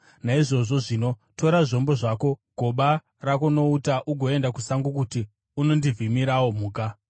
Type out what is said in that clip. Naizvozvo zvino tora zvombo zvako, goba rako nouta ugoenda kusango kuti unondivhimirawo mhuka.